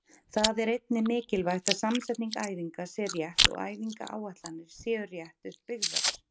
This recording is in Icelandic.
Það er einnig mikilvægt að samsetning æfinga sé rétt og æfingaáætlanir séu rétt upp byggðar.